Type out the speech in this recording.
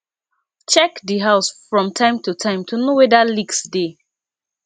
check di house from time to time to know weda leaks dey